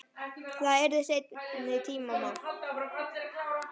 Það yrði seinni tíma mál.